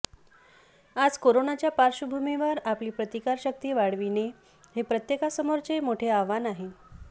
आज कोरोनाच्या पार्श्वभूमीवर आपली प्रतिकारशक्ती वाढविणे हे प्रत्येकासमोरचे मोठे आव्हान आहे